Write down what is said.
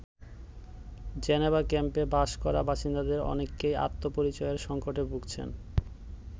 Geneva ক্যাম্পে বাস করা বাসিন্দাদের অনেকেই আত্মপরিচয়ের সংকটে ভুগছেন।